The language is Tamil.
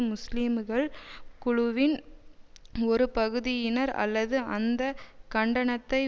முஸ்லீம்கள் குழுவின் ஒரு பகுதியினர் அல்லது அந்த கண்டனத்தை